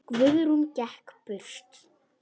Guðrún gekk burt.